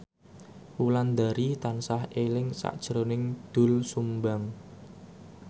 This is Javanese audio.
Wulandari tansah eling sakjroning Doel Sumbang